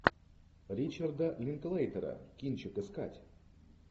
ричарда линклейтера кинчик искать